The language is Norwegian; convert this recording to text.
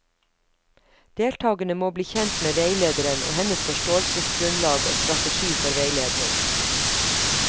Deltakerne må bli kjent med veilederen og hennes forståelsesgrunnlag og strategi for veiledning.